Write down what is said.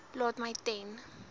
laat my ten